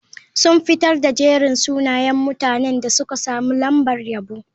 Sun fitar da jerin sunayen mutanen da suka samu lambar yabo.